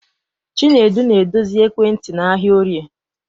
Chinedu na-edozi ekwentị n'ahịa Orie.